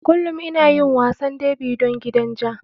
Kullum ina yin wasan derby don gidan ja.